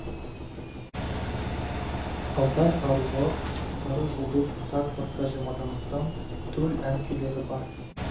алтай аруы сары жұлдыз тағы басқа жиырмадан астам төл ән күйлері бар